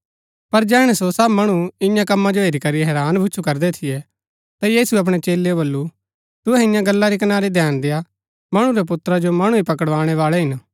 पर जैहणै सो सब मणु ईयां कमां जो हेरी करी हैरान भुछु करदै थियै ता यीशुऐ अपणै चेलेओ वल्‍लु तुहै ईयां गल्ला री कनारी धैन देआ मणु रै पुत्रा जो मणु ही पकड़ाणै बाळै हिन